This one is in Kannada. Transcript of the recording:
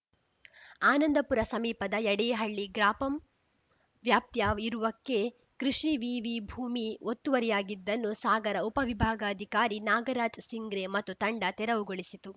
ಆನಂದಪುರ ಸಮೀಪದ ಯಡೇಹಳ್ಳಿ ಗ್ರಾಪಂ ವ್ಯಾಪ್ತಿಯ ಇರುವಕ್ಕೆ ಕೃಷಿ ವಿವಿ ಭೂಮಿ ಒತ್ತುವರಿಯಾಗಿದ್ದನ್ನು ಸಾಗರ ಉಪವಿಭಾಗಾಧಿಕಾರಿ ನಾಗರಾಜ್‌ ಸಿಂಗ್ರೆ ಮತ್ತು ತಂಡ ತೆರವುಗೊಳಿಸಿತು